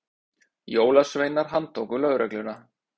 Jólasveinar handtóku lögregluna